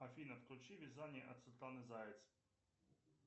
афина включи вязание от светланы заяц